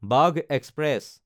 বাঘ এক্সপ্ৰেছ